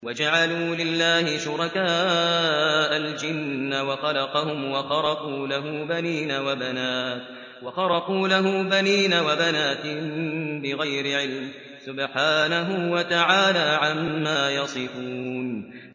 وَجَعَلُوا لِلَّهِ شُرَكَاءَ الْجِنَّ وَخَلَقَهُمْ ۖ وَخَرَقُوا لَهُ بَنِينَ وَبَنَاتٍ بِغَيْرِ عِلْمٍ ۚ سُبْحَانَهُ وَتَعَالَىٰ عَمَّا يَصِفُونَ